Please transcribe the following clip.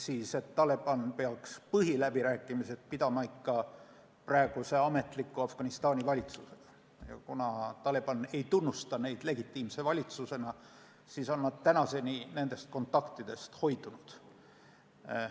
Nimelt, Taliban peaks põhiläbirääkimisi pidama Afganistani praeguse ametliku valitsusega, aga kuna Taliban ei tunnusta neid legitiimse valitsusena, siis on nad siiani kontaktidest hoidunud.